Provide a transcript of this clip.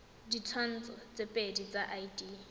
ditshwantsho tse pedi tsa id